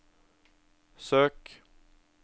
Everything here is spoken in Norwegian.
søk